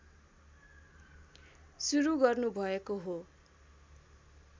सुरु गर्नुभएको हो